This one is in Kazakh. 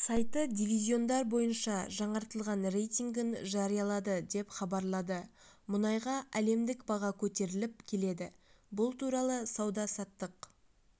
сайты дивизиондар бойынша жаңартылған рейтингін жариялады деп хабарлады мұнайға әлемдік баға көтеріліп келеді бұл туралы сауда-саттық